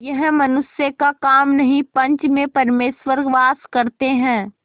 यह मनुष्य का काम नहीं पंच में परमेश्वर वास करते हैं